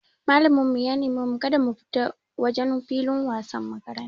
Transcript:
Malamin mu ya neme mu kada mu fita wajen filin wasan makaranta.